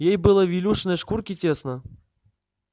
ей было в илюшиной шкурке тесно